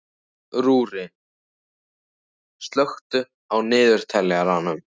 Rúrí, slökktu á niðurteljaranum.